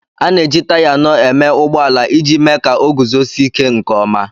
A na-eji taya anọ eme ụgbọ ala iji me ka oguzosi ike nke ọma